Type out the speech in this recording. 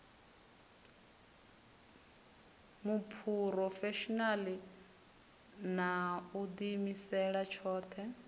muphurofeshinala na u diimisela tshothe